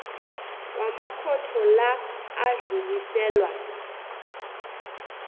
wamakhotho la adluliselwa